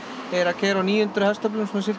er að keyra á níu hundruð hestöflum